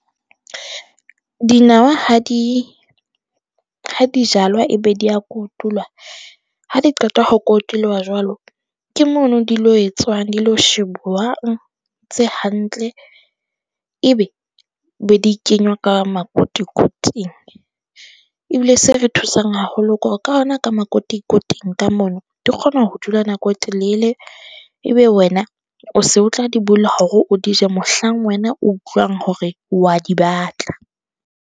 Dinawa ha di, ha di jalwa e be di ya kotulwa, ha di qeta ho kotulwa jwalo ke mono di lo e tswang di lo shebuwang tse hantle e be be di kenywa ka makotikoting. Ebile se re thusang haholo ke hore ka ho na ka makotikoting ka mono, di kgona ho dula nako e telele. Ebe wena o se o tla di bula hore o di je, mohlang wena o utlwang hore wa di batla.